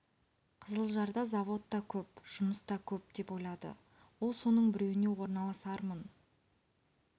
қызылжарда завод та көп жұмыс та көп деп ойлады ол соның біреуіне орналасармын